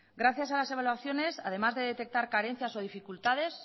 gracias a las evaluaciones además de detectar carencias y dificultades